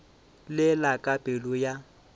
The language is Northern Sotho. le la ka pelo ya